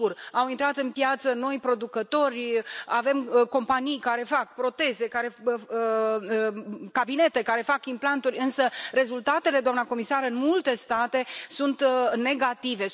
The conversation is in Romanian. Au intrat în piață noi producători, avem companii care fac proteze, cabinete care fac implanturi însă rezultatele, doamna comisar, în multe state sunt negative.